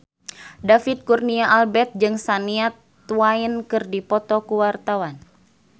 David Kurnia Albert jeung Shania Twain keur dipoto ku wartawan